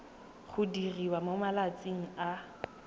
go diriwa mo malatsing a